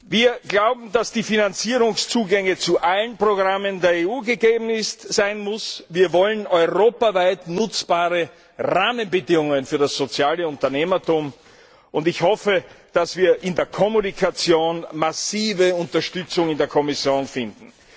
Wir glauben, dass die Finanzierungszugänge zu allen Programmen der EU gegeben sein müssen. Wir wollen europaweit nutzbare Rahmenbedingungen für das soziale Unternehmertum und ich hoffe, dass wir in der Kommunikation massive Unterstützung in der Kommission finden.